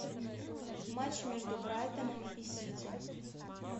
матч между брайтоном и сити